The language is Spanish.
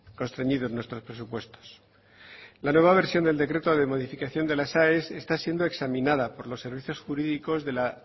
constreñidos nuestros presupuestos la nueva versión del decreto de modificación de las aes está siendo examinada por los derechos jurídicos de la